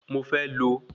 Mo fẹ́ lo